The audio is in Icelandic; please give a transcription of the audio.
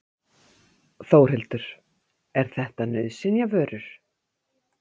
Þórhildur: Er þetta nauðsynjavörur?